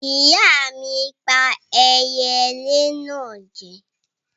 Ìyá mi pà eyelé náà jẹ.